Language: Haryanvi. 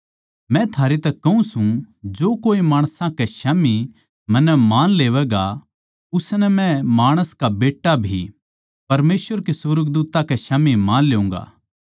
मै थारै तै कहूँ सूं जो कोए माणसां कै स्याम्ही मन्नै मान लेवैगा उसनै मै माणस का बेट्टा भी परमेसवर कै सुर्गदूत्तां कै स्याम्ही मान लेऊँगा